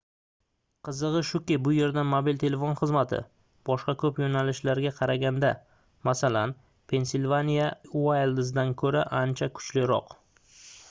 qizigʻi shuki bu yerda mobil telefon xizmati boshqa koʻp yoʻnalishlarga qaraganda masalan pensilvaniya uayldzdan koʻra ancha kuchliroq